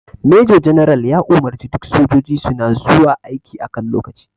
Major general ya umarce duk sojiji suna zuwa aiki a kan lokaci